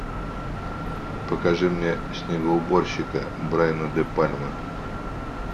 покажи мне снегоуборщика брайан де пальма